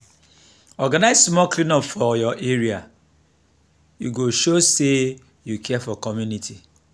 organize small clean up for your area; e go show say you care for community.